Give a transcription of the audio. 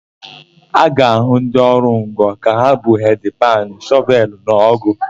A ga-ahụ ndị ọrụ ngo ka ha bu hedị panụ, shọvelụ na ọ́gụ̀.